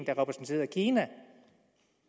der repræsenterede kina